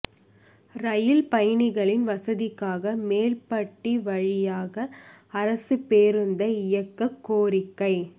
ரயில் பயணிகளின் வசதிக்காக மேல்பட்டி வழியாக அரசுப் பேருந்தை இயக்கக் கோரிக்கை